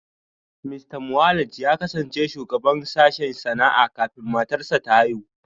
Mista Mwaleng ya kasance shugaban sashen sana'a kafin matarsa ​​ta haihu